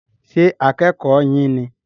Ṣé akẹ́kọ̀ yín ní?